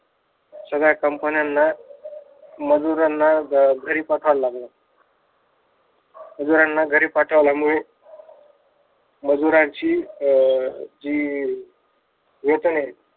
सगळ्या कंपन्यांना मजुरांना घरी बसायला लागल मजुरांना घरी पाठवल्यामुळे मजुरांची अह जी वेतन आहे